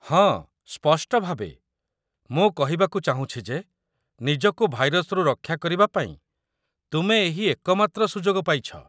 ହଁ ସ୍ପଷ୍ଟଭାବେ, ମୁଁ କହିବାକୁ ଚାହୁଁଛି ଯେ ନିଜକୁ ଭାଇରସ୍‌ରୁ ରକ୍ଷା କରିବା ପାଇଁ ତୁମେ ଏହି ଏକମାତ୍ର ସୁଯୋଗ ପାଇଛ।